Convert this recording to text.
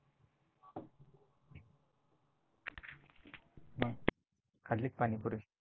खाल्ली का पाणीपुरी?